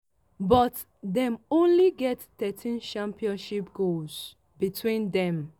but dem only get thirteen championship goals between dem.